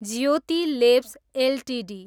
Jyoti labs Ltd